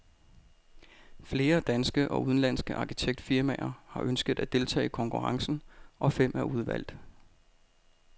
Flere danske og udenlandske arkitektfirmaer har ønsket at deltage i konkurrencen, og fem er udvalgt.